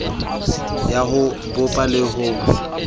ya ho bopa le ho